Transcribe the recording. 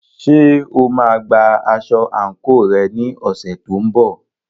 Ṣé o máa gba aṣọ àǹkóò rẹ ní ọ̀sẹ̀ tó ń bọ̀?